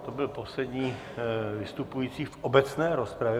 To byl poslední vystupující v obecné rozpravě.